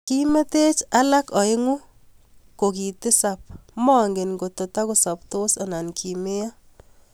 Kimeteech alak aeng'u kokokiitisap ,mangen ngotakosaptos anan kimeiyoo